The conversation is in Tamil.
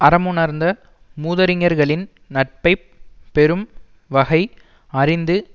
அறமுணர்ந்த மூதறிஞர்களின் நட்பை பெறும் வகை அறிந்து